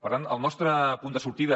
per tant el nostre punt de sortida